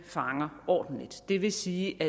fanger ordentligt det vil sige at